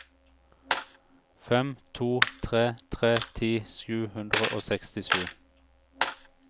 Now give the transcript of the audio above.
fem to tre tre ti sju hundre og sekstisju